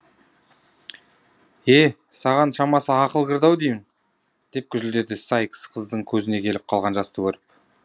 е саған шамасы ақыл кірді ау деймін деп гүжілдеді сайкс қыздың көзіне келіп қалған жасты көріп